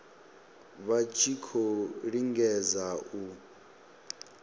vha tshi khou lingedza u